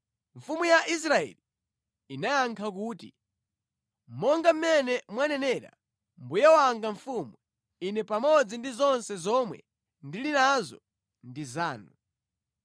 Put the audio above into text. Mfumu ya Israeli inayankha kuti, “Monga mmene mwanenera, mbuye wanga mfumu, ine pamodzi ndi zonse zomwe ndili nazo ndi zanu.”